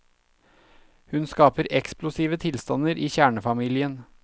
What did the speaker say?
Hun skaper eksplosive tilstander i kjernefamilien.